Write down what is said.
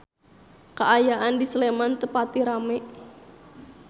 Kaayaan di Sleman teu pati rame